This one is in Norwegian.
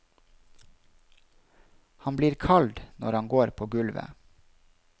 Han blir kald når han går på gulvet.